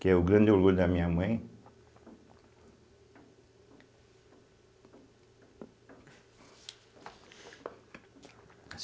Que é o grande orgulho da minha mãe.